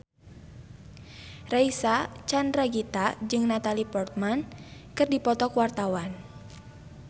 Reysa Chandragitta jeung Natalie Portman keur dipoto ku wartawan